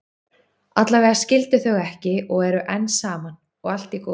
Allavega skildu þau ekki og eru enn saman, og allt í góðu.